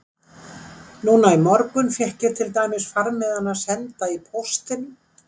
Núna í morgun fékk ég til dæmis farmiðana senda í póstinum.